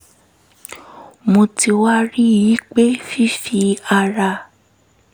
mo ti wá rí i pé fífi ara